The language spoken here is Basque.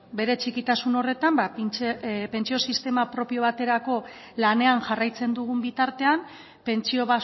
bere txikitasun horretan pentsio sistema propio baterako lanean jarraitzen dugun bitartean pentsio